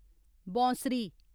बौंसरी